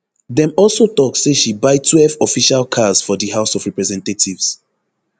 dem also tok say she buytwelve official cars for di house of representatives